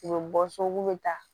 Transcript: U bɛ bɔ so k'u bɛ taa